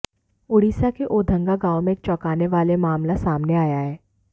ओडिशा के ओधंगा गांव में एक चौकाने वाले मामला सामने आया है